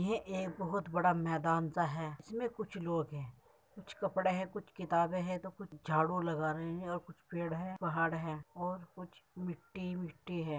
ये एक बोहोत बड़ा मैदान सा है। इसमे कुछ लोग हैं। कुछ कपड़े हैं। कुछ किताबे हैं तो कुछ झाडू लगा रहे हैं और कुछ पेड़ हैं। पहाड़ हैं और कुछ मिट्टी-बिट्टी है।